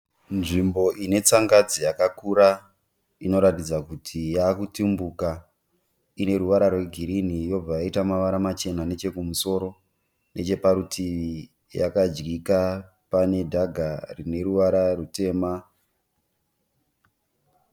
Nzvimbo ine tsangadzi yakakura inoratidza kuti yakutumbuka, ine ruvara rwegirini yobva yaita mavara machena nechokumusoro. Neche parutivi yakadyika pane dhaga rine ruvara rutema.